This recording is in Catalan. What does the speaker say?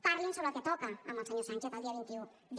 parlin sobre el que toca amb el senyor sánchez el dia vint un d